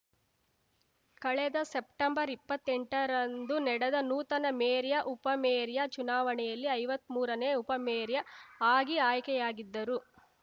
ಕಳೆದ ಸೆಪ್ಟಂಬರ್‌ ಇಪ್ಪತ್ತೆಂಟರಂದು ನಡೆದ ನೂತನ ಮೇರ್ಯಾ ಉಪಮೇರ್ಯಾ ಚುನಾವಣೆಯಲ್ಲಿ ಐವತ್ಮೂರನೇ ಉಪಮೇರ್ಯಾ ಆಗಿ ಆಯ್ಕೆಯಾಗಿದ್ದರು